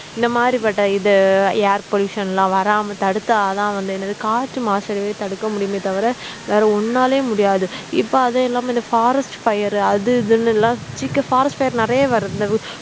இந்த மாதிரிபட்ட இது air pollution லாம் வராம தடுத்தா தான் வந்து என்னது காற்று மாசடையுறதை தடுக்க முடியுமே தவிர வேற ஒண்ணாலயும் முடியாது இப்ப அது இல்லாம இந்த forest fire அது இதுன்னு எல்லாம் forest fire நிறைய வருது